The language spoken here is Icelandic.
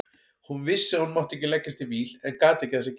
Hún vissi að hún mátti ekki leggjast í víl en gat ekki að sér gert.